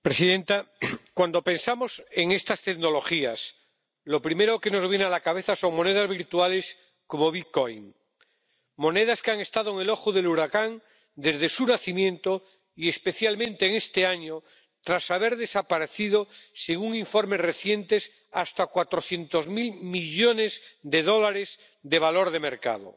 Señora presidenta, cuando pensamos en estas tecnologías lo primero que nos viene a la cabeza son monedas virtuales como el monedas que han estado en el ojo del huracán desde su nacimiento y especialmente en este año tras haber desaparecido, según informes recientes, hasta cuatrocientos mil millones de dólares de valor de mercado.